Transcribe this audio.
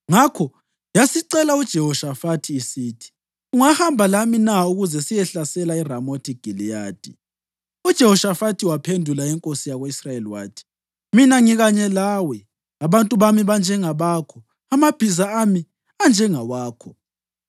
Ngakho yasicela uJehoshafathi isithi, “Ungahamba lami na ukuze siyehlasela eRamothi Giliyadi?” UJehoshafathi ephendula inkosi yako-Israyeli wathi, “Mina ngikanye lawe, abantu bami banjengabakho, amabhiza ami anjengawakho.”